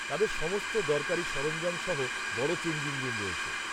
তাদের সমস্ত দরকারি সরঞ্জাম সহ বড় চেঞ্জিং রুম রয়েছে।